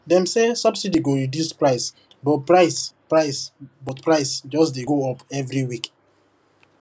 dem say subsidy go reduce price but price price but price just dey go up every week